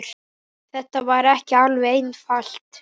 Þetta var ekki alveg einfalt